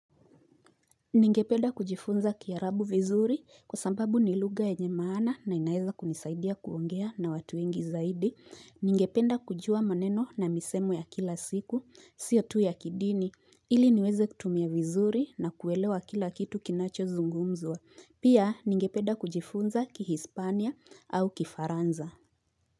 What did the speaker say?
Ningependa kujifunza kiarabu vizuri kwa sababu ni lugha yenyemana na inaeza kunisaidia kuongea na watu ingi zaidi. Ningependa kujua maneno na misemo ya kila siku, siyo tu ya kidini. Ili niweze kutumia vizuri na kuelewa kila kitu kinacho zungumzwa. Pia ningependa kujifunza ki Hispania au kifaransa.